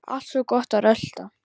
Alltaf svo gott að rölta.